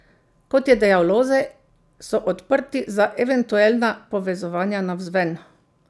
Kot je dejal Lozej, so odprti za eventuelna povezovanja navzven.